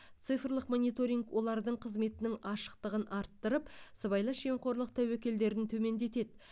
цифрлық мониторинг олардың қызметінің ашықтығын арттырып сыбайлас жемқорлық тәуекелдерін төмендетеді